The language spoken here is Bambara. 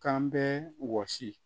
K'an bɛ wɔsi